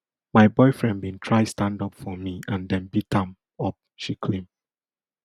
my boyfriend bin try stand up for me and dem beat am up she claim